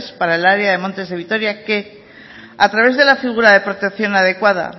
para el área de montes de vitoria que a través de la figura de protección adecuada